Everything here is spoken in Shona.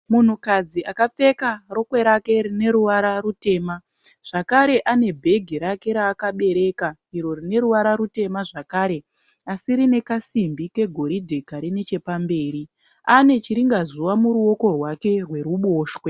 Munhukadzi akapfeka rokwe rake rine ruvara rutema zvakare anebhegi rake raakabereka iro rine ruvara rutema zvakare asi rine kasimbi kegoridhe kari nechepamberi ane chiringazuva muruoko rwake rweruboshwe.